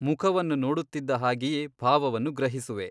ಮುಖವನ್ನು ನೋಡುತ್ತಿದ್ದ ಹಾಗೆಯೇ ಭಾವವನ್ನು ಗ್ರಹಿಸುವೆ.